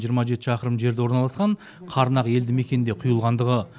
жиырма жеті шақырым жерде орналасқан қарнақ елді мекенінде құйылғандығы